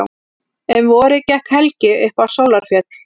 Um vorið gekk Helgi upp á Sólarfjöll.